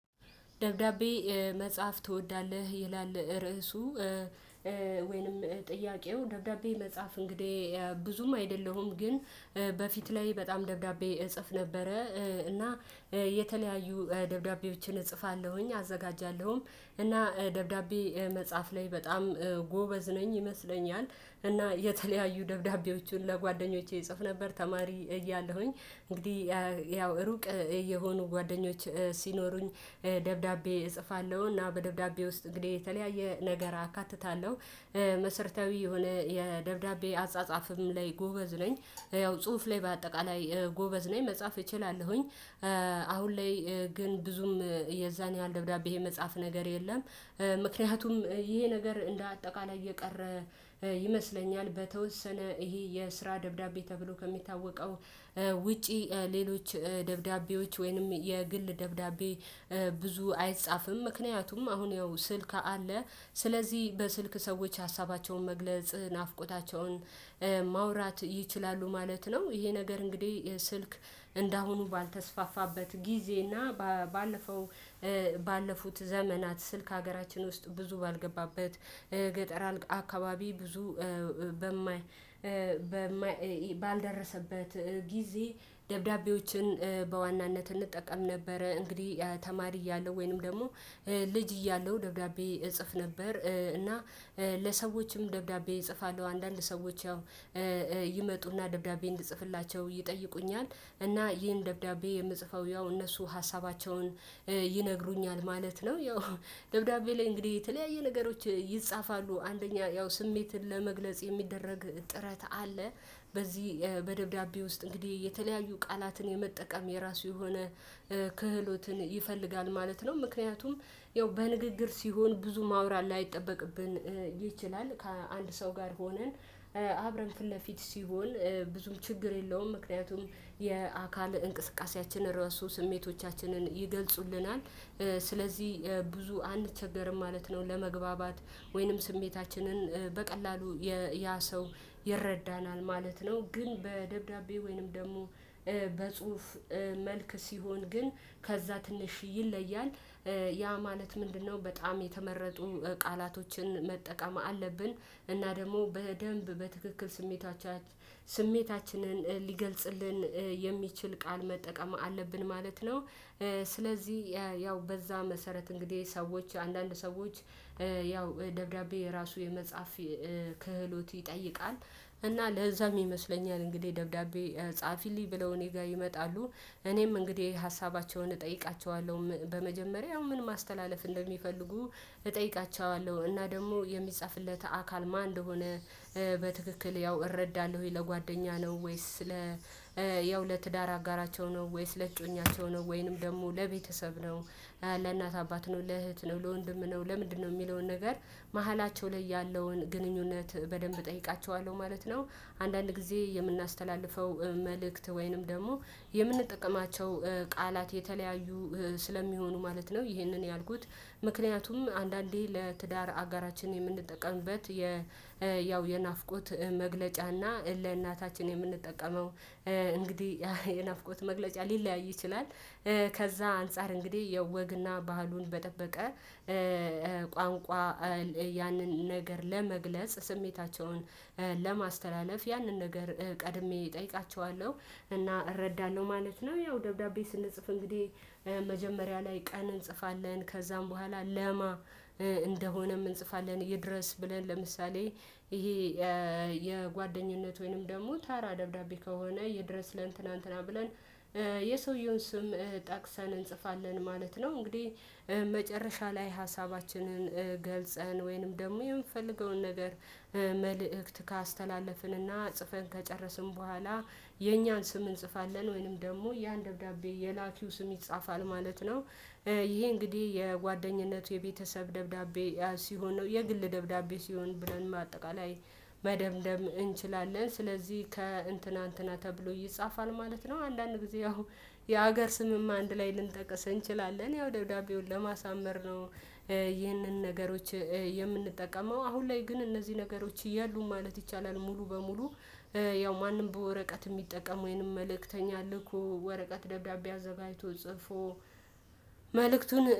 ደብዳቤ መጻፍ ትወዳለህ? ይላል ርዕሱ ወይንም ጥያቄው ደብዳቤ መጻፍ እንግዲህ ብዙም አይደለሁም ግን በፊት ላይ በጣም ደብዳቤ እጽፍ ነበረ። እና የተለያዩ ደብዳቤዎችን እጽፋለሁኝ አዘጋጃለሁም እና ደብዳቤ መጻፍ ላይ በጣም ጎበዝ ነኝ ይመስለኛል እና የተለያዩ ደብዳቤዎችን ለጓደኞቼ እጽፍ ነበር ተማሪ እያለሁኝ እንግዲህ ያው ሩቅ የሆኑ ጓደኞች ሲኖሩኝ ደብዳቤ እጽፋለው። እና በደብዳቤ ውስጥ እንግዲህ የተለያየ ነገር አካትታለው። መሰርታዊ የሆነ የደብዳቤ አጻጻፍም ላይ ጎበዝ ነኝ ያው ጽሁፍ ላይ በአጠቃላይ ጎበዝ ነኝ መጻፍ እችላለሁኝ። አሁን ላይ ግን ብዙም የዛን ያህል ደብዳቤ ይሄ መጻፍ ነገር የለም። ምክንያቱም ይሄ ነገር እንደ አጠቃላይ እየቀረ ይመስለኛል። በተወሰነ ይሄ የስራ ደብዳቤ ተብሎ ከሚታወቀው ውጪ ሌሎች ደብዳቤዎች ወይንም የግል ደብዳቤ ብዙ አይጻፍም። ምክንያቱም አሁን ያው ስልክ አለ ስለዚህ በስልክ ሰዎች ሀሳባቸውን መግለጽ ናፍቆታቸውን ማውራት ይችላሉ ማለት ነው። ይሄ ነገር እንግዲህ ስልክ። እንደአሁኑ ባልተስፋፋበት ጊዜ እና ባለፈው ባለፉት ዘመናት ስልክ ሀገራችን ውስጥ ብዙ ባልገባበት ገጠር አካባቢ ብዙ በማይ ባልደረሰበት ጊዜ ደብዳቤዎችን በዋናነት እንጠቀም ነበረ። እንግዲህ ተማሪ እያለሁ ወይንም ደግሞ ልጅ እያለሁ ደብዳቤ እጽፍ ነበር እና ለሰዎችም ደብዳቤ እጽፋለሁ አንዳንድ ሰዎች ያው ይመጡና ደብዳቤ እንድጽፍላቸው ይጠይቁኛል። እና ይሄን ደብዳቤ የምጽፈው ያው እነሱ ሀሳባቸውን ይነግሩኛል ማለት ነው። ያው ደብዳቤ ላይ እንግዲህ የተለያየ ነገሮች ይጻፋሉ አንደኛ ያው ስሜትን ለመግለጽ የሚደረግ ጥረት አለ። በዚህ በደብዳቤ ውስጥ እንግዲህ የተለያዩ ቃላትን የመጠቀም የራሱ የሆነ ክህሎትን ይፈልጋል ማለት ነው። ምክንያቱም ያው በንግግር ሲሆን ብዙ ማውራት ላይጠበቅብን ይችላል። ከአንድ ሰው ጋር ሆነን አብረን ፊት ለፊት ሲሆን ብዙም ችግር የለውም። ምክንያቱም የአካል እንቅስቃሴያችን ራሱ ስሜቶቻችንን ይገልጹልናል። ስለዚህ ብዙ አንቸገርም ማለት ነው። ለመግባባት ወይንም ስሜታችንን በቀላሉ ያ ሰው ይረዳናል ማለት ነው። ግን በደብዳቤ ወይንም ደግሞ በጽሁፍ መልክ ሲሆን ግን ከዛ ትንሽ ይለያል። ያ ማለት ምንድነው? በጣም የተመረጡ ቃላቶችን መጠቀም አለብን እና ደግሞ በደንብ በትክክል ስሜታችንን ሊገልጽልን የሚችል ቃል መጠቀም አለብን ማለት ነው። ስለዚህ ያው በዛ መሰረት እንግዲህ ሰዎች አንዳንድ ሰዎች ያው ደብዳቤ የራሱ የመጽሐፍ ክህሎት ይጠይቃል። እና ለዛም ይመስለኛል እንግዲህ ደብዳቤ ጻፊልኝ ብለው እኔ ጋር ይመጣሉ። እኔም እንግዲህ ሀሳባቸውን እጠይቃቸዋለው በመጀመሪያ ምን ማስተላለፍ እንደሚፈልጉ እጠይቃቸዋለው እና ደግሞ የሚጻፍለት አካል ማን እንደሆነ በትክክል ያው እረዳለሁ። ወይ ለጓደኛ ነው? ወይስ ለ ያው ለትዳር አጋራቸው ነው? ወይስ ለእጮኛቸው ነው? ወይንም ደግሞ ለቤተሰብ ነው? ለእናት አባት ነው ለእህት ነው ለወንድም ነው ለምንድነው የሚለውን ነገር መሃላቸው ላይ ያለውን ግንኙነት በደንብ እጠይቃቸዋለሁ ማለት ነው። አንዳንድ ጊዜ የምናስተላልፈው መልእክት ወይንም ደግሞ የምንጠቀማቸው ቃላት የተለያዩ ስለሚሆኑ ማለት ነው። ይህንን ያልኩት ምክንያቱም አንዳንዴ ለትዳር አገራችን የምንጠቀምበት ያው የናፍቆት መግለጫ እና ለእናታችን የምንጠቀመው እንግዲህ የናፍቆት መግለጫ ሊለያይ ይችላል። ከዛ አንፃር እንግዲህ የወግና ባህሉን በጠበቀ ቋንቋ ያንን ነገር ለመግለጽ ስሜታቸውን ለማስተላለፍ ያንን ነገር ቀድሜ እጠይቃቸዋለው እና እረዳለው ማለት ነው። ያው ደብዳቤ ስንጽፍ እንግዲህ መጀመሪያ ላይ ቀን እንጽፋለን ከዛም በኋላ ለማ እንደሆነም እንጽፋለን ይድረስ ብለን ለምሳሌ ይሄ የጓደኝነት ወይንም ደግሞ ታራ ደብዳቤ ከሆነ ይድረስ ለእንትና እንትና ብለን የሰውየውን ስም ጠቅሰን እንጽፋለን ማለት ነው። እንግዲህ መጨረሻ ላይ ሀሳባችንን ገልጸን ወይንም ደግሞ የምፈልገውን ነገር መልእክት ካስተላለፍንና ጽፈን ከጨረስን በኋላ የኛን ስም እንጽፋለን ወይንም ደግሞ ያን ደብዳቤ የላኪው ስም ይጻፋል ማለት ነው። ይሄ እንግዲህ የጓደኝነት የቤተሰብ ደብዳቤ ሲሆን ነው የግል ደብዳቤ ሲሆን ብለን ማጠቃላይ መደምደም እንችላለን። ስለዚህ ከእንትና እንትና ተብሎ ይጻፋል ማለት ነው። አንዳንድ ጊዜ ያው የሀገር ስምም አንድ ላይ ልንጠቀስ እንችላለን ያው ደውዳቤውን ለማሳመር ነው። ይህንን ነገሮች የምንጠቀመው አሁን ላይ ግን እነዚህ ነገሮች የሉም ማለት ይቻላል። ሙሉ በሙሉ ያው ማንም በወረቀት የሚጠቀመው ወንም መልእክተኛ ልኮ ወረቀት ደብዳቤ አዘጋጅቶ ጽፎ መልእክቱን